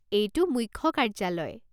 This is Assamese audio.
এইটো মুখ্য কাৰ্য্যালয়।